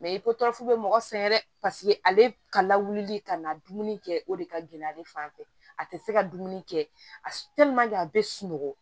Mɛ i ko furafu bɛ mɔgɔ sɛgɛn dɛ paseke ale ka lawuli ka na dumuni kɛ o de ka gɛlɛ ale fan fɛ a tɛ se ka dumuni kɛ a bɛ sunɔgɔ